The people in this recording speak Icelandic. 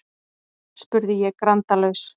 spurði ég grandalaus.